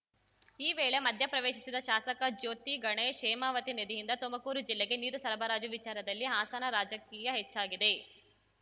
ಈ ವೇಳೆ ಮಧ್ಯಪ್ರವೇಶಿಸಿದ ಶಾಸಕ ಜ್ಯೋತಿ ಗಣೇಶ್‌ ಹೇಮಾವತಿ ನದಿಯಿಂದ ತುಮಕೂರು ಜಿಲ್ಲೆಗೆ ನೀರು ಸರಬರಾಜು ವಿಚಾರದಲ್ಲಿ ಹಾಸನ ರಾಜಕೀಯ ಹೆಚ್ಚಾಗಿದೆ